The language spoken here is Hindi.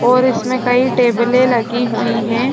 और इसमें कई टेबले लगी हुई है।